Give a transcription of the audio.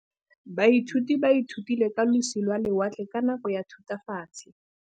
Baithuti ba ithutile ka losi lwa lewatle ka nako ya Thutafatshe.